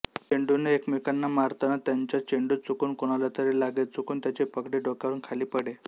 चेंडूने एकमेकांना मारताना त्यांचा चेंडू चुकून कोणालातरी लागे चुकून त्याची पगडी डोक्यावरून खाली पडे